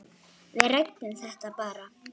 Við ræddum það bara.